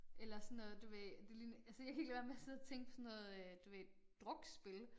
Eller sådan noget du ved det ligner altså jeg kan ikke lade være med at sidde og tænke på sådan noget øh du ved drukspil